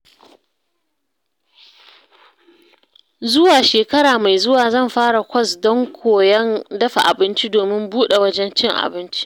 Zuwa shekara mai zuwa zan fara kwas ɗin koyon dafa abinci domin buɗe wajen cin abinci.